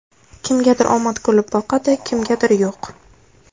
Kimgadir omad kulib boqadi, kimgadir yo‘q.